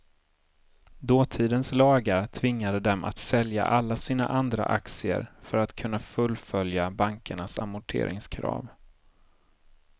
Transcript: Dåtidens lagar tvingade dem att sälja alla sina andra aktier för att kunna fullfölja bankernas amorteringskrav.